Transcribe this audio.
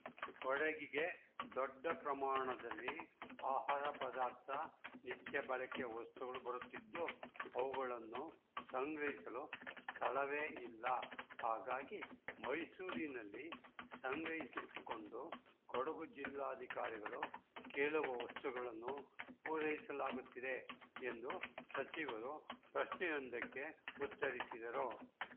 ಕೊಡಗಿಗೆ ದೊಡ್ಡ ಪ್ರಮಾಣದಲ್ಲಿ ಆಹಾರ ಪದಾರ್ಥ ನಿತ್ಯಬಳಕೆಯ ವಸ್ತುಗಳು ಬರುತ್ತಿದ್ದು ಅವುಗಳನ್ನು ಸಂಗ್ರಹಿಸಲು ಸ್ಥಳವೇ ಇಲ್ಲ ಹಾಗಾಗಿ ಮೈಸೂರಿನಲ್ಲಿ ಸಂಗ್ರಹಿಸಿಟ್ಟುಕೊಂಡು ಕೊಡಗು ಜಿಲ್ಲಾಧಿಕಾರಿಗಳು ಕೇಳುವ ವಸ್ತುಗಳನ್ನು ಪೂರೈಸಲಾಗುತ್ತಿದೆ ಎಂದು ಸಚಿವರು ಪ್ರಶ್ನೆಯೊಂದಕ್ಕೆ ಉತ್ತರಿಸಿದರು